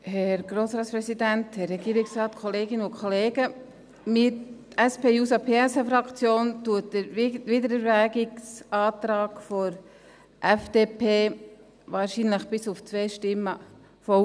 Wir, die SP-JUSO-PSA-Fraktion, unterstützen den Wiedererwägungsantrag der FDP, wahrscheinlich bis auf zwei Stimmen, voll.